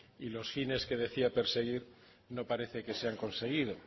y los fines que decía perseguir no parece que se han conseguido